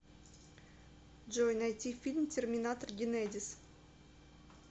джой найти фильм терминатор генедис